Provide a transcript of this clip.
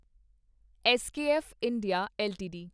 SKF India LTD